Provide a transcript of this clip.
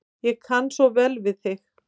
Ég kann svo vel við þig.